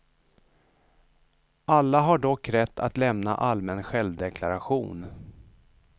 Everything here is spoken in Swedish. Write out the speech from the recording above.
Alla har dock rätt att lämna allmän självdeklaration.